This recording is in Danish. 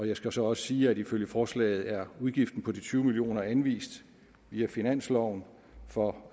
jeg skal så også sige at ifølge forslaget er udgiften på de tyve million kroner anvist via finansloven for